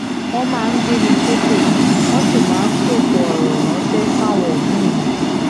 wọ́n máa ń gbé mi ṣépè wọ́n sì máa ń sọ̀kò ọ̀rọ̀ ránṣẹ́ sáwọn òbí mi